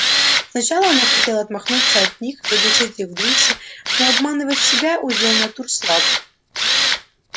сначала она хотела отмахнуться от них заглушить их в душе но обманывать себя удел натур слабых